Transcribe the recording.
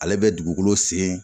Ale bɛ dugukolo sen